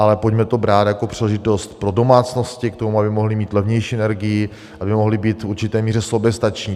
Ale pojďme to brát jako příležitost pro domácnosti k tomu, aby mohly mít levnější energii, aby mohly být v určité míře soběstačné.